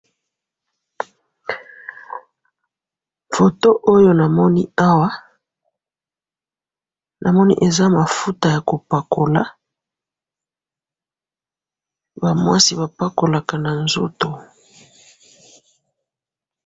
Foto oyo namoni awa, namoni eza mafuta yakopakola, bamwasi bapakolaka nanzoto.